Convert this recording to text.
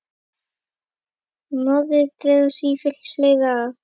Norðrið dregur sífellt fleiri að.